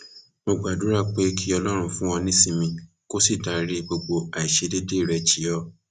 mo gbàdúrà pé kí ọlọrun fún ọ nísinmi kó sì dárí gbogbo àìṣedéédé rẹ jì ọ